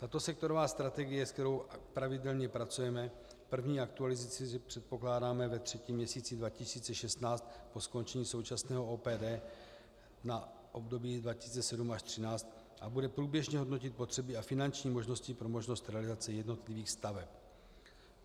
Tato sektorová strategie, s kterou pravidelně pracujeme, první aktualizaci předpokládáme ve třetím měsíci 2016 po skončení současného OPD na období 2007 až 2013 a bude průběžně hodnotit potřeby a finanční možnosti pro možnost realizace jednotlivých staveb.